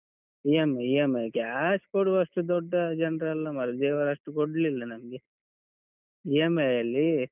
EMI, EMI cash, ಕೊಡುವಷ್ಟು ದೊಡ್ಡ ಜನ್ರಲ್ಲ ಮಾರ್ರೆ, ದೇವರು ಅಷ್ಟು ಕೊಡ್ಲಿಲ್ಲ ನಮ್ಗೆ EMI ಅಲ್ಲಿ.